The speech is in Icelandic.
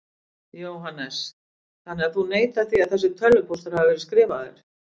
Jóhannes: Þannig að þú neitar því að þessi tölvupóstur hafi verið skrifaður?